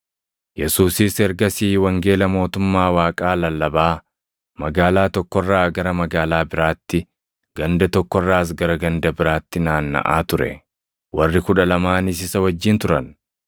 Yesuusis ergasii wangeela mootummaa Waaqaa lallabaa magaalaa tokko irraa gara magaalaa biraatti, ganda tokko irraas gara ganda biraatti naannaʼaa ture. Warri Kudha Lamaanis isa wajjin turan;